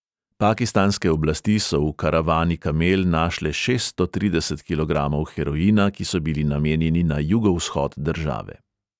Pakistanske oblasti so v karavani kamel našle šeststo trideset kilogramov heroina, ki so bili namenjeni na jugovzhod države.